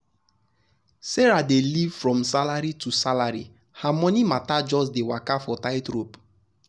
sarah dey live from salary to salary her money matter just dey waka for tight rope. tight rope.